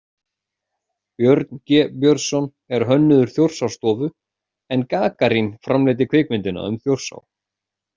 Björn G. Björnsson er hönnuður Þjórsárstofu, en Gagarín framleiddi kvikmyndina um Þjórsá.